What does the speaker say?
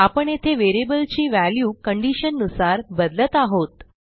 आपण येथे व्हेरिएबलची व्हॅल्यू कंडिशन नुसार बदलत आहोत